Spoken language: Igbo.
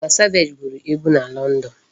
Tiwa savage gụrụ egu na London.